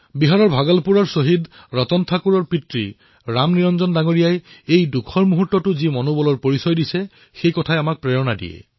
বিহাৰৰ ভাগলপুৰৰ শ্বহীদ ৰতন ঠাকুৰৰ পিতৃ ৰামনিৰঞ্জন জীয়ে দুখৰ এই সময়তো যি সাহসৰ পৰিচয় দিছে তাৰ দ্বাৰা আমি সকলো উৎসাহিত হৈছো